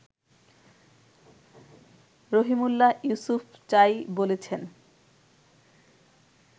রহিমউল্লাহ ইউসুফজাই বলেছেন